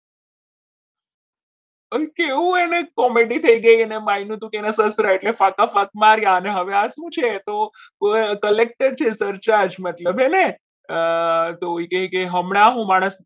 અંકે એવું હોય તો મેડી થઈ ગઈ અને સસરા એટલે એના કાકા મારે અને હવે આ શું છે તો collector છે search મતલબ હમણાં હું મારા